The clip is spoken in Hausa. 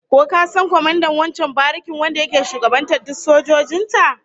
Ko ka san kwamandan wancan barikin wanda yake shugabantar duk sojojin ta?